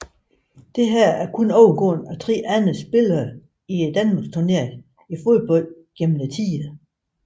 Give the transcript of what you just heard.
Dette er kun overgået af 3 andre spillere i Danmarksturneringen i fodbold gennem tiderne